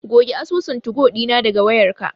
Goge asusun tugo ɗina daga wayarka.